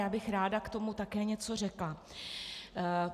Já bych ráda k tomu také něco řekla.